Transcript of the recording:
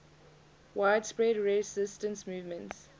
widespread resistance movements